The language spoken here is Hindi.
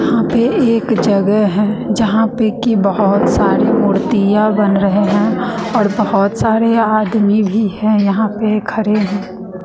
यहां पे एक जगह है जहां पे की बहोत सारी मूर्तियां बन रहे हैं और बहोत सारे आदमी भी है यहां पे खड़े हैं।